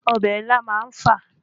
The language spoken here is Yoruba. Ọbẹ̀ ilá má ń fà